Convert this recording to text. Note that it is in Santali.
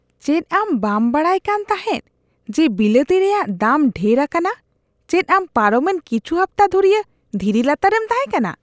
ᱪᱮᱫ ᱟᱢ ᱵᱟᱢ ᱵᱟᱲᱟᱭ ᱠᱟᱱ ᱛᱟᱦᱮᱸᱜ ᱡᱮ ᱵᱤᱞᱟᱹᱛᱤ ᱨᱮᱭᱟᱜ ᱫᱟᱢ ᱰᱷᱮᱨ ᱟᱠᱟᱱᱟ ? ᱪᱮᱫ ᱟᱢ ᱯᱟᱨᱚᱢᱮᱱ ᱠᱤᱪᱷᱩ ᱦᱟᱯᱛᱟ ᱫᱷᱩᱨᱤᱭᱟᱹ ᱫᱷᱤᱨᱤ ᱞᱟᱛᱟᱨ ᱨᱮᱢ ᱛᱟᱦᱮᱸᱠᱟᱱᱟ ᱾